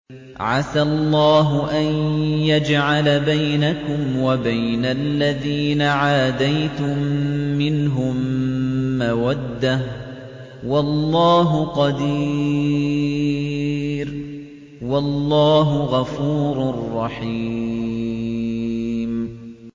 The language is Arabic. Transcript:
۞ عَسَى اللَّهُ أَن يَجْعَلَ بَيْنَكُمْ وَبَيْنَ الَّذِينَ عَادَيْتُم مِّنْهُم مَّوَدَّةً ۚ وَاللَّهُ قَدِيرٌ ۚ وَاللَّهُ غَفُورٌ رَّحِيمٌ